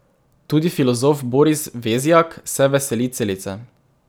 Tudi filozof Boris Vezjak se veseli celice.